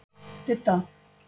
Didda